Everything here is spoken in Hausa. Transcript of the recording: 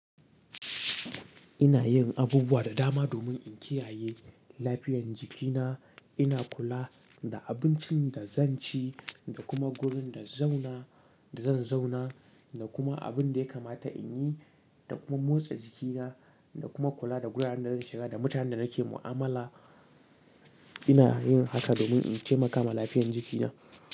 Ina yin abubuwa da dama domin in kiyaye lafiyan jikina. Ina kula da abincin da zan ci da kuma wurin da zauna da zan zauna da kuma abinda ya kamata inyi da kuma motsa jikina da kuma kula da wuraren da zan shiga da mutanen da nake mu'amala. Ina yin haka domin in taimaka ma lafiyan jikina.